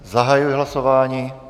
Zahajuji hlasování.